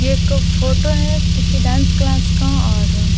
ये एक फोटो है किसी डांस क्लास का और --